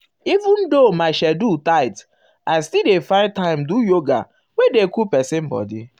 um even though um my schedule tight i still dey find time do yoga wey dey cool person body.